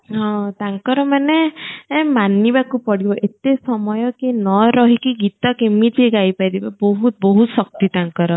ହଁ ତାଙ୍କର ମାନେ ଏ ମାନିବାକୁ ପଡିବ ଏତେ ସମୟ କିଏ ନ ରହିକି ଗୀତ କେମିତି ଗାଇ ପାରିବ ବହୁତ ବହୁତ ଶକ୍ତି ତାଙ୍କର